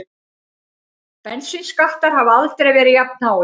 Bensínskattar hafa aldrei verið jafnháir